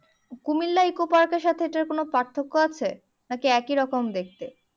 Comilla eco পার্কের সাথে এটার কোনো পার্থক্য আছে নাকি একই রকম দেখতে